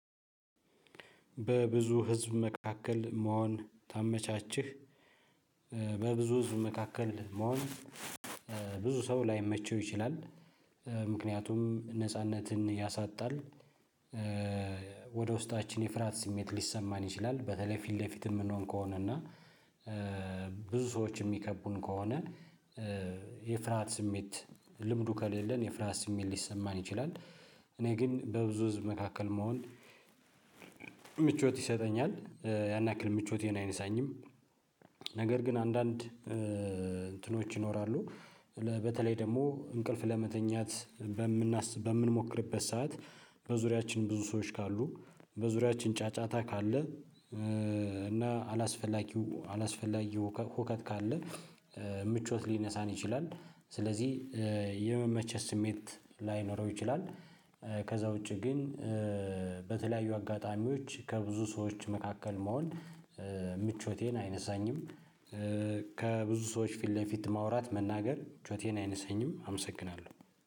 በብዙ ህዝብ መካከል መሆን ታመቻችህ። በብዙ ህዝብ መካከል መሆን። ብዙ ሰው ላይመቸው ይችላል። ምክንያቱም ነጻነትን ያሳጣል። ወደ ውስጣችን የፍርሃት ስሜት ሊሰማን ይችላል በተለይ ፊት ለፊት የምንሆን ከሆነ እና። ብዙ ሰዎች የሚከቡን ከሆነ። የፍርሃት ስሜት ልምዱ ከሌለን የፍርሃት ስሜት ሊሰማን ይችላል። እኔ ግን በብዙ ህዝብ መካከል መሆን። ምቾት ይሰጠኛል ያን ያክል ምቾቴን አይነሳኝም። ነገር ግን አንዳንድ እንትኖች ይኖራሉ በተለይ ደግሞ እንቅልፍ ለመተኛት። በምንሞክርበት ሰዓት በዙሪያችን ብዙ ሰዎች ካሉ በዙሪያችን ጫጫታ ካለ። እና አላስፈላጊው አላስፈላጊው ሁከት ካለ። ምቾት ሊነሳን ይችላል ስለዚህ የመመቸት ስሜት ላይኖረው ይችላል። ከዛ ውጪ ግን። በተለያዩ አጋጣሚዎች ከብዙ ሰዎች መካከል መሆን ምቾቴን አይነሳኝም። ከብዙ ሰዎች ፊት ለፊት ማውራት መናገር ጩኸቴን አይነሳኝም አመሰግናለሁ